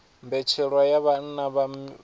mbetshelwa ya vhana vha miwaha